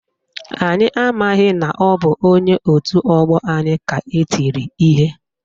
Anyị amaghị na ọ bụ onye otu ọgbọ anyị ka etiri ihe